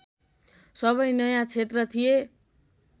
सबै नयाँ क्षेत्र थिए